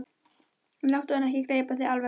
Láttu hann ekki gleypa þig alveg!